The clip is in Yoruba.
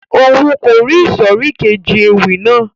Òun kò rí ìsòrí keji ewì náà